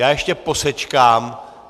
Já ještě posečkám.